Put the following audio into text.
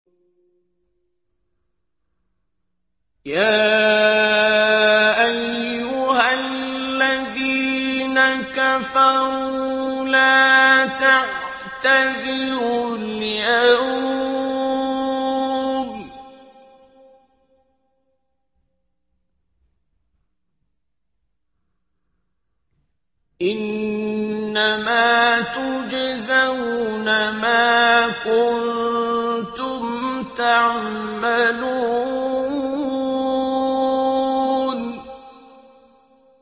يَا أَيُّهَا الَّذِينَ كَفَرُوا لَا تَعْتَذِرُوا الْيَوْمَ ۖ إِنَّمَا تُجْزَوْنَ مَا كُنتُمْ تَعْمَلُونَ